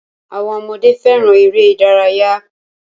Àwọn ọmọdé fẹràn eré ìdárayá.